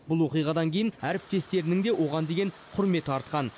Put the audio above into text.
бұл оқиғадан кейін әріптестерінің де оған деген құрметі артқан